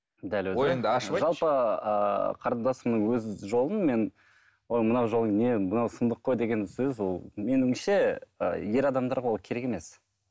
жалпы ыыы қарындасымның өз жолын мен ой мына жолың не мынау сұмдық қой деген сөз ол меніңше і ер адамдарға ол керек емес